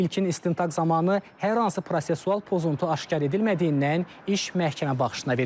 İlkin istintaq zamanı hər hansı prosessual pozuntu aşkar edilmədiyindən, iş məhkəmə baxışına verilib.